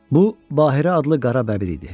Bu Bahirə adlı qara bəbir idi.